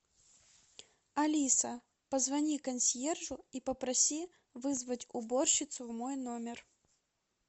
алиса позвони консьержу и попроси вызвать уборщицу в мой номер